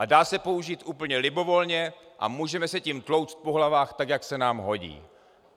A dá se použít úplně libovolně a můžeme se tím tlouct po hlavách tak, jak se nám hodí.